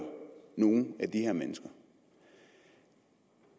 nogle af de her mennesker